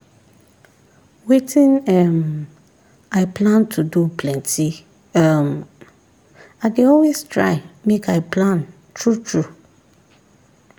wetin um i plan to do plenty um i dey always try make i plan true true